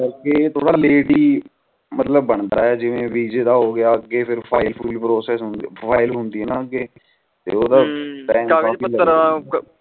late ਹੀ ਬੰਦਾ ਆਂ ਜਿਵੇ ਵਿਜੇ ਦਾ ਹੋਗਿਆ ਅਗੇ ਫਾਈਲ ਫੂਲ process ਓਹਦਾ